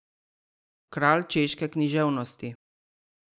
Kralj češke književnosti.